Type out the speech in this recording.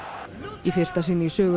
í fyrsta sinn í sögu